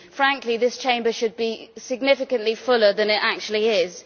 Frankly, this Chamber should be significantly fuller than it actually is.